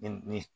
Ni